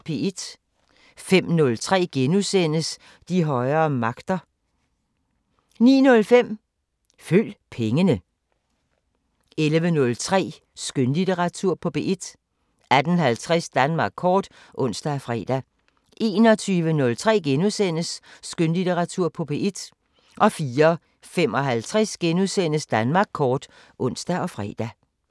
05:03: De højere magter * 09:05: Følg pengene 11:03: Skønlitteratur på P1 18:50: Danmark kort (ons og fre) 21:03: Skønlitteratur på P1 * 04:55: Danmark kort *(ons og fre)